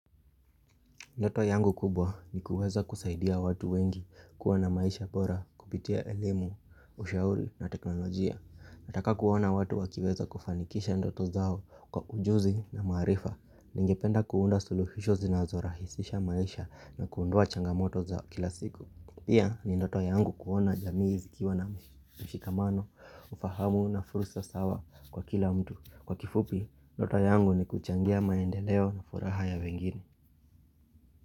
Ndoto yangu kubwa ni kuweza kusaidia watu wengi kuwa na maisha bora kupitia elemu, ushauri na teknolojia. Nataka kuwaona watu wakiweza kufanikisha ndoto zao kwa ujuzi na marifa. Ningependa kuunda suluhisho zinazorahisisha maisha na kuondoa changamoto zao kila siku. Pia ni ndoto yangu kuona jamii zikiwa na mshikamano, ufahamu na fursa sawa kwa kila mtu. Kwa kifupi, ndoto yangu ni kuchangia maendeleo na furaha ya wengine.